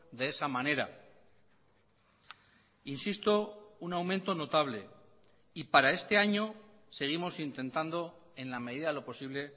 de esa manera insisto un aumento notable y para este año seguimos intentando en la medida de lo posible